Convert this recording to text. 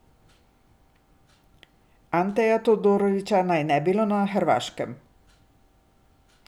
Anteja Todorića naj ne bi bilo na Hrvaškem.